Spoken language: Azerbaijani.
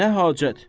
Nə hacət?